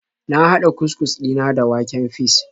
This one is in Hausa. Na hada cus-cus dina da waken fis.